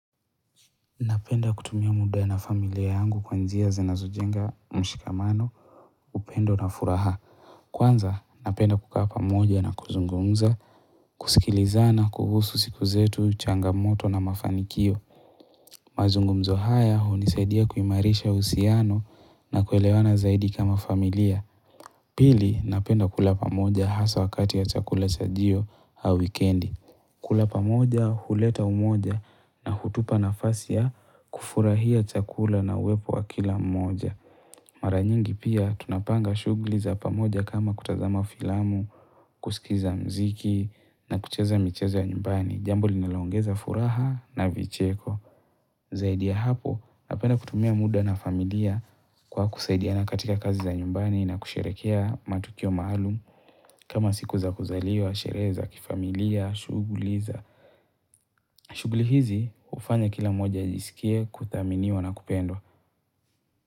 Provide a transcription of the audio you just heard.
Napenda kutumia muda na familia yangu kwa njia zinazojenga mshikamano upendo na furaha. Kwanza, napenda kukaa pamoja na kuzungumza, kusikilizana kuhusu siku zetu, changamoto na mafanikio. Mazungumzo haya hunisaidia kuimarisha uhusiano na kuelewana zaidi kama familia. Pili napenda kula pamoja hasa wakati wa chakula chajio au wikendi. Kula pamoja, huleta umoja na hutupa nafasi ya kufurahia chakula na uwepo wa kila mmoja. Mara nyingi pia, tunapanga shughuli za pamoja kama kutazama filamu, kusikiza mziki na kucheza michezo ya nyumbani. Jambo linaloongeza furaha na vicheko. Zaidi ya hapo, napenda kutumia muda na familia kwa kusaidia na katika kazi za nyumbani na kusherehekea matukio maalum kama siku za kuzaliwa, sherehe za kifamilia, shugli za. Shughuli hizi hufanya kila mmoja ajisikie kudhaminiwa na kupendwa.